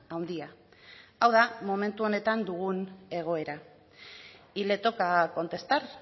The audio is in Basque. handia hau da momentu honetan dugun egoera y le toca contestar